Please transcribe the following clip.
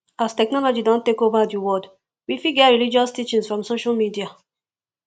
as technology don take over di world we fit get religious teaching from social media